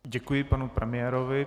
Děkuji panu premiérovi.